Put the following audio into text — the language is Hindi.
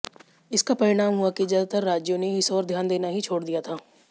इसका परिणाम हुआ कि ज्यादातर राज्यों ने इस ओर ध्यान देना ही छोड़ दिया था